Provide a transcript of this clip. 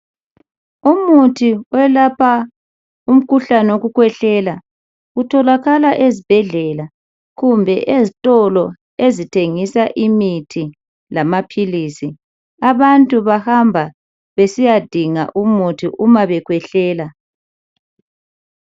Umuthi owelapha umkhuhlane owokukhwehlela utholakala ezibhedlela kumbe ezitolo ezithengisa imithi lamaphilisi. Abantu bahamba besiya dinga umuthi uma bekhwehlela.